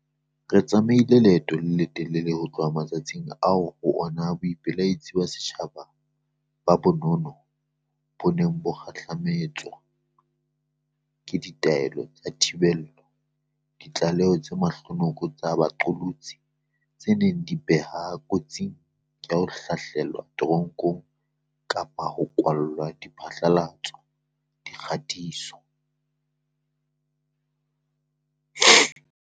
Re tsamaile leeto le letelele ho tloha matsatsing ao ho ona boipelaetso ba setjhaba ba ba nono bo neng bo kgahlame tswa ke ditaelo tsa thibelo, ditlaleho tse mahlonoko tsa baqolotsi di neng di ba beha kotsing ya ho hlahlelwa te ronkong kapa ho kwalwa ha diphatlalatso-dikgatiso.